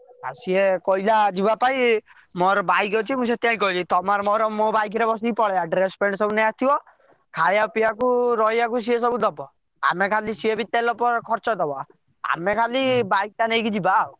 ଆଉ ସେ କହିଲା ଯିବା ପାଇଁ ମୋର bike ଅଛି ମୁଁ ସେଥିପାଇଁ କହିଲି ତମର ମୋର ମୋ bike ରେ ବସିକି ପଳେଇବା ତମ ଡ୍ରେସ ପ୍ଯାନ୍ଟ ସବୁ ନେଇ ଆସିବ ଥିବ ଖାଇଆ ପିଆକୁ ରହିବାକୁ ସେ ସବୁ ଦବ ସେ ବି ତେଲ ଖର୍ଚ ଦବ ଆମେ ଖାଲି bike ଟା ନେଇକି ଯିବା ଆଉ।